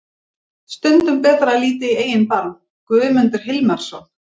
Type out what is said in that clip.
Stundum betra að líta í eigin barm. Guðmundur Hilmarsson.